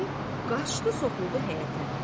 Deyib qaçdı soxuldu həyətə.